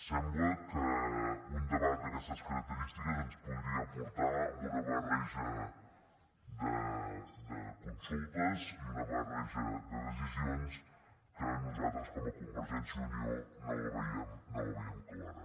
sembla que un debat d’aquestes característiques ens podria portar a una barreja de consultes i una barreja de decisions que nosaltres com a convergència i unió no veiem clara